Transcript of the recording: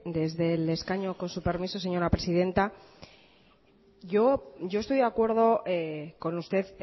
desde el escaño con su permiso señora presidenta yo estoy de acuerdo con usted